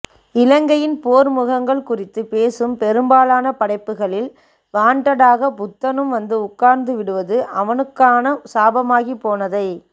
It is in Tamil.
இலங்கையின் போர் முகங்கள் குறித்துப் பேசும் பெரும்பாலான படைப்புகளில் வாண்ட்டடாக புத்தனும் வந்து உட்கார்ந்து விடுவது அவனுக்கான சாபமாகிப் போனதை